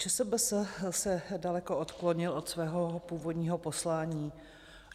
ČSBS se daleko odklonil od svého původního poslání.